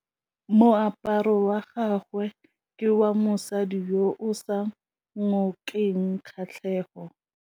Moaparô wa gagwe ke wa mosadi yo o sa ngôkeng kgatlhegô.